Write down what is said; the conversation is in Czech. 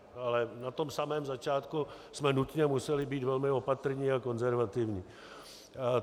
Ale na tom samém začátku jsme nutně museli být velmi opatrní a konzervativní.